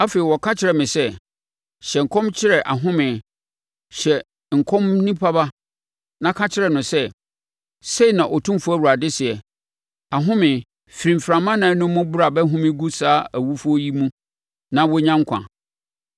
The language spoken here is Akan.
Afei ɔka kyerɛɛ me sɛ: “Hyɛ nkɔm kyerɛ ahome, hyɛ nkɔm onipa ba, na ka kyerɛ no sɛ, ‘Sei na Otumfoɔ Awurade seɛ: Ahome, firi mframa ɛnan no mu bra bɛhome gu saa awufoɔ yi mu na wɔnya nkwa.’ ”